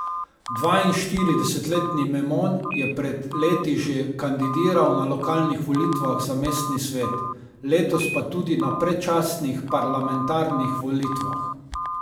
Dvainštiridesetletni Memon je pred leti že kandidiral na lokalnih volitvah za mestni svet, letos pa tudi na predčasnih parlamentarnih volitvah.